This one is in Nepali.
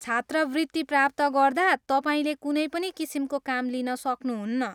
छात्रवृत्ति प्राप्त गर्दा तपाईँले कुनै पनि किसिमको काम लिन सक्नुहुन्न।